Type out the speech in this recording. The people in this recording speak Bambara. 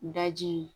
Daji